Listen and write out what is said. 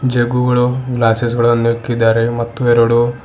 ಜೂಗ್ಗುಗಳು glasses ಗಳನ್ನು ಇಕ್ಕಿದ್ದಾರೆ ಮತ್ತು ಎರಡು--